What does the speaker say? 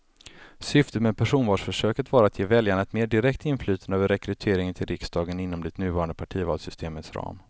Syftet med personvalsförsöket var att ge väljarna ett mer direkt inflytande över rekryteringen till riksdagen inom det nuvarande partivalssystemets ram.